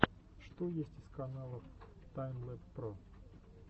что есть из каналов таймлэб про